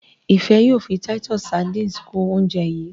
Ifẹ yóò fí Titus sardines kún oúnjẹ yi.